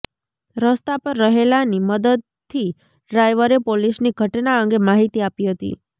રસ્તા પર રહેલાની મદદથી ડ્રાઇવરે પોલીસની ઘટના અંગે માહિતી આપી હતી